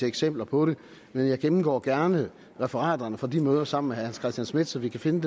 eksempler på men jeg gennemgår gerne referaterne fra de møder sammen hans christian schmidt så vi kan finde